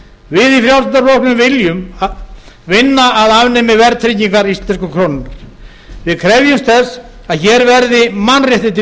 við í frjálslynda flokknum viljum vinna að almennri verðtryggingu íslensku krónunnar við krefjumst þess að hér verði mannréttindi